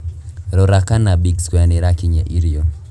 Rora kana big square nīrakinyia irio